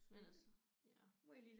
Men altså ja